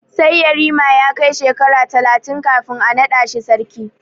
Sai yarima ya kai shekara talatin kafin a naɗa shi sarki.